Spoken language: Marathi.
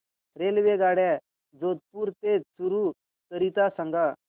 रेल्वेगाड्या जोधपुर ते चूरू करीता सांगा